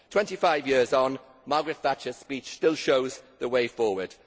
Twenty five years on, Margaret Thatcher's speech still shows the way forward.